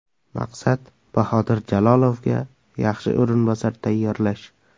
Maqsad Bahodir Jalolovga yaxshi o‘rinbosar tayyorlash.